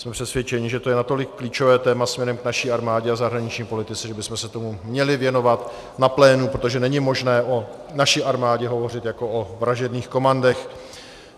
Jsem přesvědčený, že to je natolik klíčové téma směrem k naší armádě a zahraniční politice, že bychom se tomu měli věnovat na plénu, protože není možné o naší armádě hovořit jako o vražedných komandech.